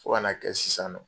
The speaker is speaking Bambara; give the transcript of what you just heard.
Fo kana kɛ sisan nɔ